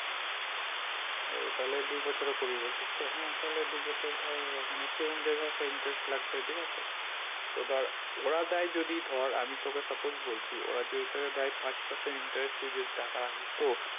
ও তাহলে দুবছরের করবি বলছিস তো হ্যাঁ তাহলে দুবছর ধর মানে সেরকম যেই ভাবে একটা interest লাগবে ঠিক আছে তো ধর ওরা দেয় যদি ধরে আমি তোকে suppose বলছি ওরা যদি তোকে দেয় পাঁচ person interest তুই যদি টাকা রাখিস তো